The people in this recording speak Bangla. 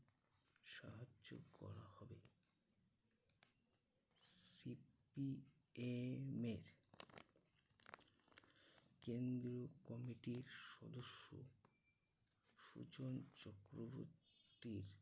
সাহায্য করা হবে। CPM এর কেন্দ্রীয় committee র সদস্য সুজন চক্রবর্তীর